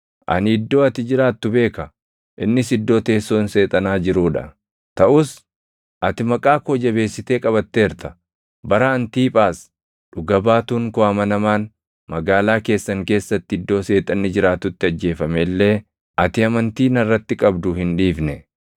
Ani iddoo ati jiraattu beeka; innis iddoo teessoon Seexanaa jiruu dha. Taʼus ati maqaa koo jabeessitee qabatteerta. Bara Antiiphaas dhuga baatuun koo amanamaan magaalaa keessan keessatti iddoo Seexanni jiraatutti ajjeefame illee ati amantii narratti qabdu hin dhiifne.